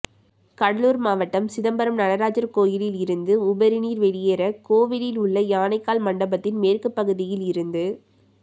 கடலுார் மாவட்டம் சிதம்பரம் நடராஜர் கோயிலில் இருந்து உபரிநீர் வெளியேற கோவிலில் உள்ள யானைக்கால் மண்டபத்தின் மேற்கு பகுதியில் இருந்து